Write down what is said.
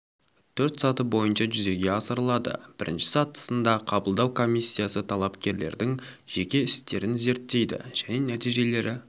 төрт саты бойынша жүзеге асырылады бірінші сатысында қабылдау комиссиясы талапкерлердің жеке істерін зерттейді және нәтижелері